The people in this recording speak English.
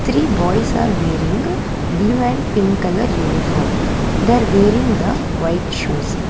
three boys are wearing blue and pink colour uniform they are wearing the white shoes.